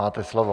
Máte slovo.